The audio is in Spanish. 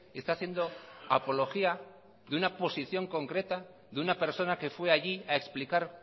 está haciendo apología de una posición concreta de una persona que fue allí a explicar